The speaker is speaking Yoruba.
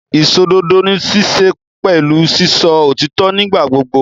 Ìsòdodo níṣe pẹ̀lú sísọ òtítọ́ nígbà gbogbo.